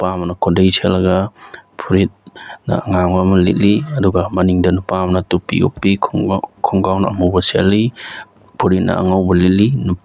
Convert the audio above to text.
ꯅꯨꯄꯥ ꯑꯃꯅ ꯈꯨꯗꯩ ꯁꯦꯠꯂꯒ ꯐꯨꯔꯤꯠꯅ ꯑꯉꯥꯡꯕ ꯑꯃ ꯂꯤꯠꯂꯤ ꯑꯗꯨꯒ ꯃꯅꯤꯡꯗ ꯅꯨꯄꯥ ꯑꯃꯅ ꯇꯨꯞꯄꯤ ꯎꯞꯄꯤ ꯈꯨꯡꯒꯥꯎ ꯈꯨꯡꯒꯥꯎꯅ ꯑꯃꯨꯕ ꯁꯦꯠꯂꯤ ꯐꯨꯔꯤꯠꯅ ꯑꯉꯧꯕ ꯂꯤꯠꯂꯤ ꯅꯨꯞ --